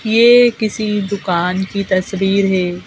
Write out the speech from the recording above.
ये किसी दुकान की तस्वीर है।